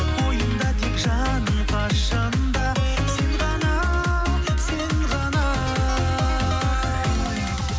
ойымда тек жаным қашан да сен ғана сен ғана